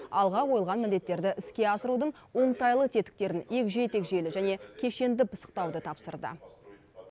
алға қойылған міндеттерді іске асырудың оңтайлы тетіктерін егжей тегжейлі және кешенді пысықтауды тапсырды